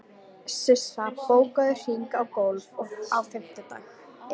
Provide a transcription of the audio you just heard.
Sissa, bókaðu hring í golf á fimmtudaginn.